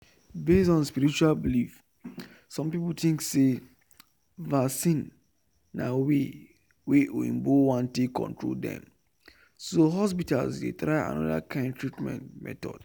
based on spiritual belief some people think say vaccine na way wa oyinbo wan take control dem so hospitals dey try another kind treatment method